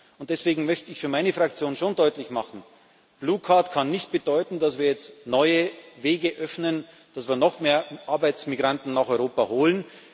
Arbeit. Und deswegen möchte ich für meine Fraktion schon deutlich machen Blue Card kann nicht bedeuten, dass wir jetzt neue Wege öffnen, um noch mehr Arbeitsmigranten nach Europa zu